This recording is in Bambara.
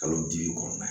Kalo duuru kɔnɔna na